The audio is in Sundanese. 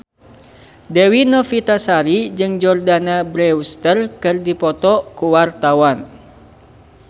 Dewi Novitasari jeung Jordana Brewster keur dipoto ku wartawan